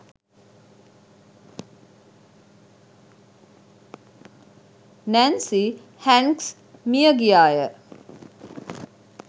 Nancy Hanks මිය ගියාය.